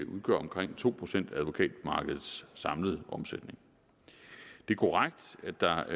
udgør omkring to procent af advokatmarkedets samlede omsætning det er korrekt at der